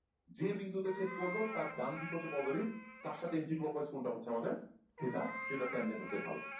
যে বিন্দুতে ছেদ করলো তার ডান দিক হচ্ছে positive তার সাথে anti-clockwise কোণটা হচ্ছে আমাদের theta সেটার tangen হচ্ছে ঢাল।